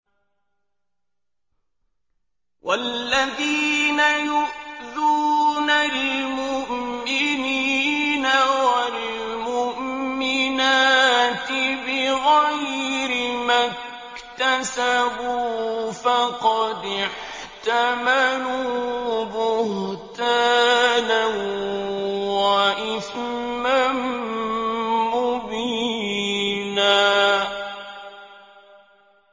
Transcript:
وَالَّذِينَ يُؤْذُونَ الْمُؤْمِنِينَ وَالْمُؤْمِنَاتِ بِغَيْرِ مَا اكْتَسَبُوا فَقَدِ احْتَمَلُوا بُهْتَانًا وَإِثْمًا مُّبِينًا